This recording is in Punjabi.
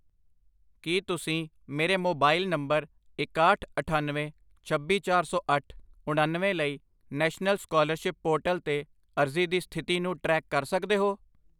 ਕੀ ਤੁਸੀਂ ਮੇਰੇ ਮੋਬਾਈਲ ਨੰਬਰ ਇਕਾਹਠ, ਅਠੱਨਵੇਂ, ਛੱਬੀ, ਚਾਰ ਸੌ ਅੱਠ, ਉਣਨਵੇਂ ਲਈ ਨੈਸ਼ਨਲ ਸਕਾਲਰਸ਼ਿਪ ਪੋਰਟਲ 'ਤੇ ਅਰਜ਼ੀ ਦੀ ਸਥਿਤੀ ਨੂੰ ਟਰੈਕ ਕਰ ਸਕਦੇ ਹੋ?